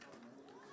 Bilirsən ki, sən.